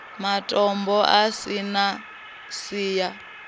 matombo a si na siya